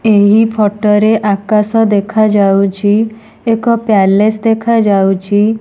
ଏହି ଫଟ ରେ ଆକାଶ ଦେଖାଯାଉଛି ଏକ ପ୍ୟାଲେସ ଦେଖାଯାଉଛି।